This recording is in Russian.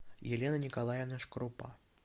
елена николаевна шкрупа